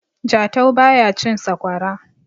jatau ba ya cin sakwara